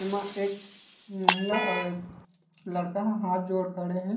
एमा एक महिला एक लड़का हाथ जोड़ खड़े हे।